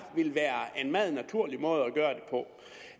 ville være en meget naturlig måde